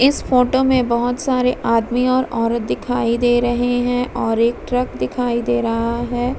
इस फोटो में बोहोत सारे आदमी और औरत दिखाई दे रहे हैं और एक ट्रक दिखाई दे रहा है।